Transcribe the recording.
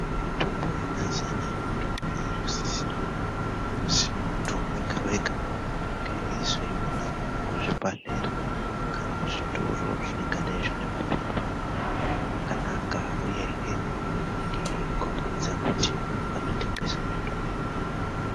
Mitombo yemazuva anaya mitombo irikusisirwa kuzi muntu wega-wega ange eizoiona pachibhedhlera kana kuzvitoro zvingange zvine maphepha akanaka uyehe anenge eikhombidza kuti vanotengese mitombo.